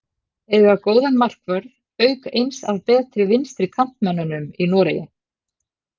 Eiga góðan markvörð auk eins af betri vinstri kantmönnunum í Noregi.